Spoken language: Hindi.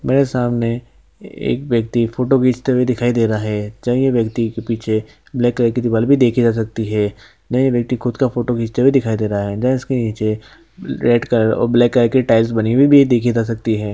मेरे सामने एक व्यक्ति फोटो खींचते हुए दिखाई दे रहा है च ये व्यक्ति के पीछे ब्लैक कलर की दीवाल भी देखी जा सकती है न ये व्यक्ति खुद का फोटो खींचते हुए दिखाई दे रहा है इसके नीचे रेड कलर और ब्लैक कलर की टाइल्स बनी हुई भी देखी जा सकती है।